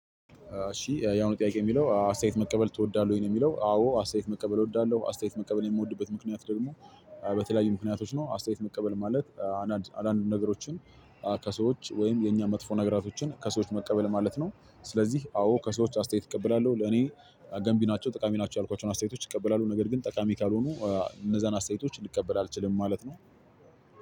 እሺ ያሁኑ ጥያቄ የሚለው አስተያየት መቀበል ትወዳለህ ወይ ነው? የሚለው አዎ አስተያየት መቀበል እወዳለሁ አስተያየት መቀበል የምወድበት ምክንያት ደግሞ በተለያዩ ምክንያቶች ነው። አስተያየት መቀበል ማለት አንዳንድ አንዳንድ ነገሮችን ከሰዎች ወይም የኛ መጥፎ ነገራቶችን ከሰዎች መቀበል ማለት ነው። ስለዚህ አዎ ከሰዎች አስተያየት እቀበላለሁ ለኔ ገንቢ ናቸው ጠቃሚ ናቸው ያልኳቸውን አስተያየቶች እቀበላለሁ። ነገር ግን ጠቃሚ ካልሆኑ እነዛን አስተያየቶች ልቀበል አልችልም ማለት ነው።